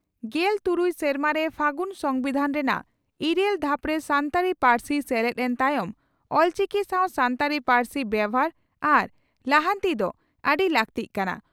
ᱜᱮᱞᱛᱩᱨᱩᱭ ᱥᱮᱨᱢᱟᱨᱮ ᱯᱷᱟᱹᱜᱩᱱ ᱥᱚᱢᱵᱤᱫᱷᱟᱱ ᱨᱮᱱᱟᱜ ᱤᱨᱟᱹᱞ ᱫᱷᱟᱯᱨᱮ ᱥᱟᱱᱛᱟᱲᱤ ᱯᱟᱹᱨᱥᱤ ᱥᱮᱞᱮᱫ ᱮᱱ ᱛᱟᱭᱚᱢ ᱚᱞᱪᱤᱠᱤ ᱥᱟᱶ ᱥᱟᱱᱛᱟᱲᱤ ᱯᱟᱹᱨᱥᱤ ᱵᱮᱵᱷᱟᱨ ᱟᱨ ᱞᱟᱦᱟᱱᱛᱤ ᱫᱚ ᱟᱹᱰᱤ ᱞᱟᱜᱛᱤᱜ ᱠᱟᱱᱟ ᱾